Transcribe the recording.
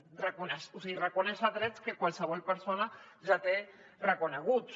o sigui reconèixer els drets que qualsevol persona ja té reconeguts